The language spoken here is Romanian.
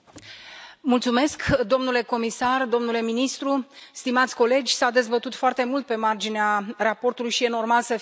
Doamna președintă, domnule comisar, domnule ministru, stimați colegi, s a dezbătut foarte mult pe marginea raportului și e normal să fie așa.